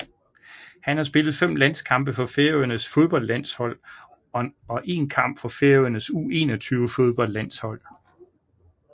Han har spillet 5 landskampe for Færøernes fodboldlandshold og en kamp for Færøernes U21 fodboldlandshold